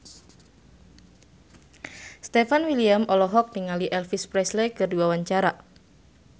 Stefan William olohok ningali Elvis Presley keur diwawancara